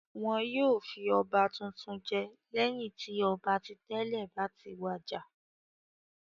Wọn yóò fi ọba tuntun jẹ lẹ́yìn tí ọba ti tẹ́lẹ̀ bá ti wàjà.